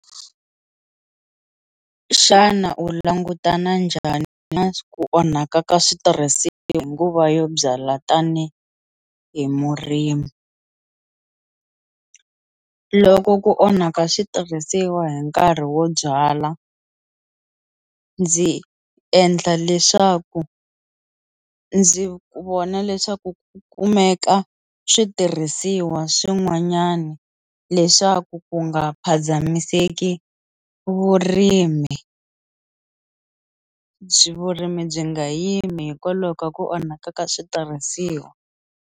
Xana u langutana njhani na ku onhaka ka switirhisiwa hi nguva yo byala tanihi hi murimi, loko ku onhaka switirhisiwa hi nkarhi wo byala ndzi endla leswaku ndzi vona leswaku ku kumeka switirhisiwa swin'wanyani leswaku ku nga phazamiseki vurimi byi vurimi byi nga yimi hikwalaho ka ku onhaka ka switirhisiwa.